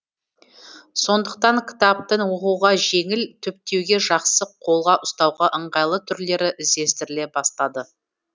сондықтан кітаптың оқуға жеңіл түптеуге жақсы қолға ұстауға ыңғайлы түрлері іздестіріле бастады